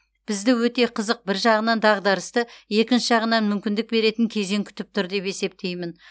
бізді өте қызық бір жағынан дағдарысты екінші жағынан мүмкіндік беретін кезең күтіп тұр деп есептеймін